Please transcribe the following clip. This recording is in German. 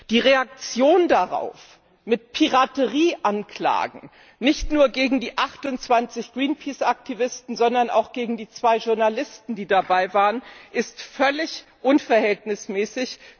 Die Reaktion darauf mit Piraterieanklagen nicht nur gegen die 28 Greenpeace Aktivisten, sondern auch gegen die zwei Journalisten, die dabei waren, ist völlig unverhältnismäßig.